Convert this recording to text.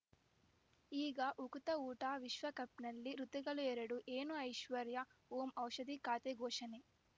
ಈಗ ಉಕುತ ಊಟ ವಿಶ್ವಕಪ್‌ನಲ್ಲಿ ಋತುಗಳು ಎರಡು ಏನು ಐಶ್ವರ್ಯಾ ಓಂ ಔಷಧಿ ಖಾತೆ ಘೋಷಣೆ